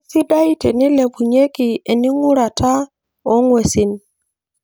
Keisidai teneilepunyieki ening'urata oong'uesin.